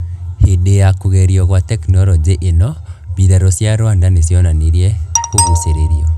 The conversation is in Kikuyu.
Hindi ya kugerio gwa teknoroji ino, mbiraru cia Rwanda nicionanirie kuguciririo,